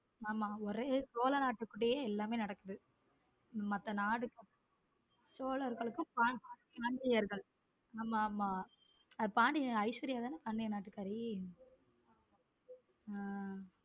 ஆமா ஒரே சோழ நாட்டுக்குள்ளேயே எல்லாமே நடக்குது மத்த நாட சோழர்களுக்கும் பாண்டியர்களுக்கும் ஆமா ஆமா ஐஸ்வர்யா தான பாண்டிய நாட்டுக்கார உம்